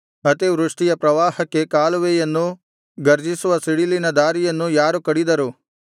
ಅತಿವೃಷ್ಟಿಯ ಪ್ರವಾಹಕ್ಕೆ ಕಾಲುವೆಯನ್ನೂ ಗರ್ಜಿಸುವ ಸಿಡಿಲಿಗೆ ದಾರಿಯನ್ನೂ ಯಾರು ಕಡಿದರು